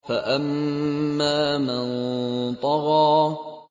فَأَمَّا مَن طَغَىٰ